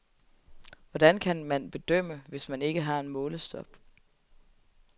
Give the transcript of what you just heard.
Hvordan kan man bedømme, hvis man ikke har en målestok?